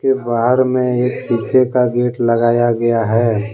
के बाहर में एक सीसे का गेट लगाया गया है।